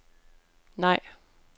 nej